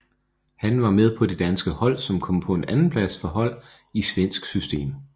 Han var med på det danske hold som kom på en andenplads for hold i svensk system